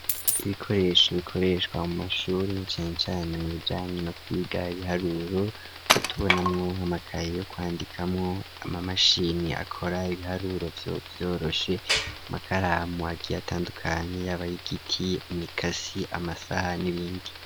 Ibikoresho bikoreshwa mu mashure cane cane mubijanye no kwiga ibiharuro aho tubonamwo amakaye kwandikamwo amamashini akora ibiharuro vyoroshe amakaramu atandukanye y'abayigiti, imikasi amasaha n'ibindi.